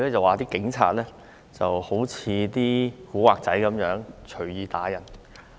他說警察好像"古惑仔"一樣，隨意打人。